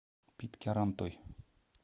питкярантой